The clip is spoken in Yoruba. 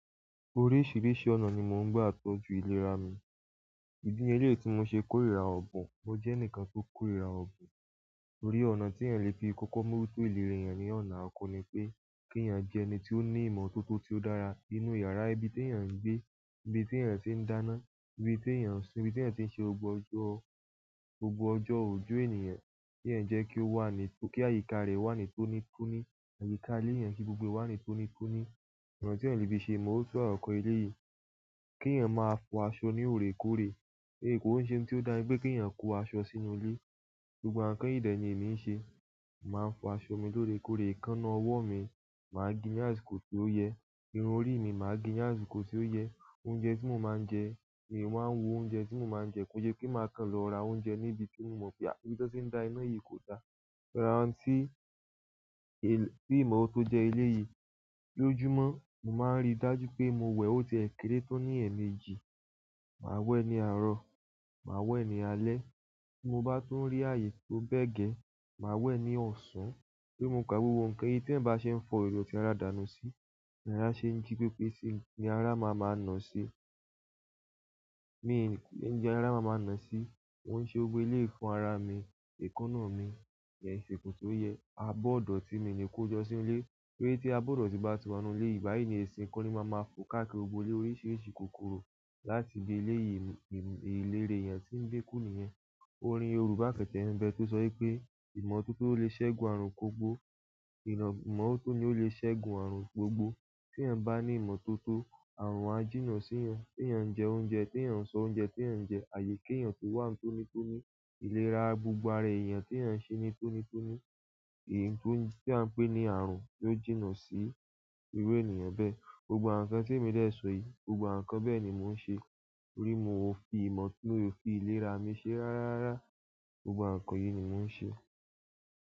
Oríṣiríṣi ọ̀nà ni mò ń gbà tọ́jú ìlera mi. Ìdí leléyìí tí mo ṣe kórìíra ọ̀bùn, mo jẹ́ ẹnìkan tó kórìíra ọ̀bùn. Orí ọ̀nà tí èèyàn le fi kọ́kọ́ mú ki ìlera èèyàn ní ọ̀nà àkọ́ni pé kí èèyàn jẹ́ ẹni tí ó ní ìmọ̀tótó tí ó dára nínú yàrá, ibi tí èèyàn ń gbé, ibi tí èèyàn ti ń dáná, ibi tí èèyàn ń sùn, ibi tí èèyàn ti ń ṣe gbógbo ọjọ́, gbogbo ọjọ́ òjò èèyàn kí èèyàn jẹ́ kí ó wà ní tó-- kí àyíká rẹ̀ wà ní tónítóní, àyíká ilé èèyàn kí gbogbo e wà ní tónítóní. Nkan ti eeyan le fi se, mo n sọ̀rọ̀ nípa eleyii, ki eeyan ma fo aṣọ ni oreekooree, ki n se nkan to daa ki ènìyàn ko aṣọ sínú ile. Gbogbo ǹkán yìí dẹ̀ yẹn ni èmi ń ṣe. Màá fọ aṣọ mi lórẹ́kọ̀rẹ̀, èékánná ọwọ́ mi, màá ge ni àsìkò tí ó yẹ. Irun orí mi, màá ge ni àsìkò tí ó yẹ. Oúnjẹ tí mò ń máa ń jẹ, èmi máa ń wo oúnjẹ tí mò ń máa ń jẹ kí n se pé màá kan lọ ra oúnjẹ ní ibi tí n ò mọ̀ pé à-- ibi tó ti ń dá iná yìí kò da. Rá ounti è-- ní mọ̀ tó jẹ ilé yìí. Lójúmọ́, màá ń rí dájú pé mo wẹ̀ ó ti è kéré tó ní ẹ̀ẹ̀mejì. Màá wẹ̀ ní àárọ̀, màá wẹ̀ ní alé bí mo bá tún rí ààyè tó bẹ́ẹ̀ gẹ̀, màá wẹ̀ ní ọ̀sán. Bí mo ká gbogbo ǹkan yìí tí ẹ̀ bá ṣe ń fọ ìró tí ara dàna sí, ni ara ṣe ń jí pépé sí i, ni ara máa máa nà sí. Mi lè ń jẹ ara máa máa nà sí mo ń se gbogbo iléyi fún ara mi. Èékánná mi, ma gee ni àsìkò toyẹ, abọ́ ọ̀dọ̀ tí mi ni kó jọ́ sí ilé. Toripe ti abọ́ idọ̀ti bá ti wa nínú ilé mi, nìbáyìí ni ẹṣin kọ́ máa ma fọ káàkiri gbogbo ilé oríṣiríṣi kòkòrò láti gbé ilé yìí mú-- ìlera èèyàn tí ń gbé kù nìyẹn. Orin Yorùbá kan bẹ tó sọ wipé "ìmọ̀ tó tó lè ṣẹ́gun àrùn gbogbo", "ìmọ̀ tó tó ni ó lè ṣẹ́gun àrùn gbogbo". Tí'yan bá ní ìmọ̀tótó, àrùn á jìnnà síìyàn. Tíyan ń jẹ oúnjẹ, tí è ń sọ oúnjẹ tí è ń jẹ, tàbí kí èèyàn tó wà ń tónítóní, ìlera gbogbo ara èèyàn tí è ń ṣe ní tónítóní, èyí tó ń-- tí à ń pè ní àrùn yó jìnnà sí irú ènìyàn bẹ́ẹ̀. Gbogbo àwoǹ nkán tí èmi lè ṣọ yìí, gbogbo àwọn ǹkán bẹ́ẹ̀ ni mò ń ṣe. torí mo ò fi ìmọ̀ tó tó, mi o fi ìlera mi ṣe rárárá. Gbogbo àǹkán yìí ni mò ń ṣe.